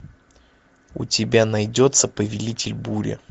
у тебя найдется повелитель бури